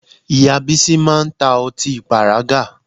Ìyá Bísí máa ń ta ọtí pàrágà